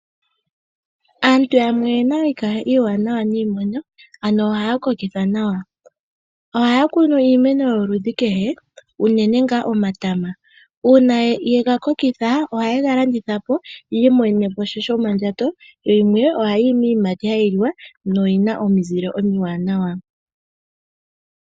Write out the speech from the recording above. Aantu yamwe oyena iikaha iiwanawa niimeno, ano ohaya kokitha nawa. Ohaya kunu iimeno yoludhi kehe uunene ngaa omatama. Uuna ye ga kokitha ohaye ga landitha po yi imonene sha shomondjato yo yimwe ohayi yi miiyiamati hayi li wa noyina omizile omiwanawa.